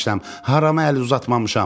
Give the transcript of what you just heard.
Harama əl uzatmamışam.